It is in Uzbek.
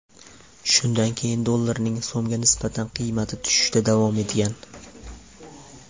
Shundan keyin dollarning so‘mga nisbatan qiymati tushishda davom etgan.